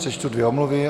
Přečtu dvě omluvy.